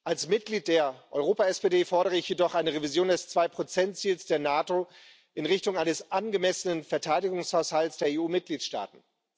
Als Mitglied der Europa SPD fordere ich jedoch eine Revision des 2 Ziels der NATO in Richtung eines angemessenen Verteidigungshaushalts der EU Mitgliedstaaten.